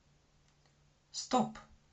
стоп